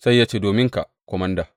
Sai ce, Dominka, komanda.